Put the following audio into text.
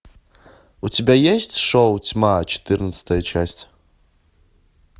у тебя есть шоу тьма четырнадцатая часть